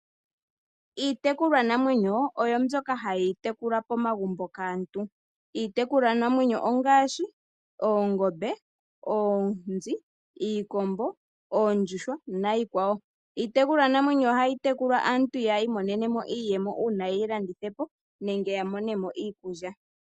Iitekulwanamwenyo oyo mbyoka hayi tekulwa pomagumbo kaantu. Iitekulwanamwenyo ongaashi: oongombe, oonzi, iikombo, oondjuhwa niikwawo. Iitekulwanamwenyo ohayi tekulwa aantu yi imonene mo iiyemo uuna ye yi landitha po nenge ya mone mo iikulya.